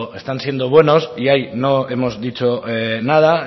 están siendo buenos y ahí no hemos dicho nada